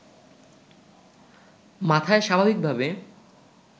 মাথায় স্বাভাবিকভাবে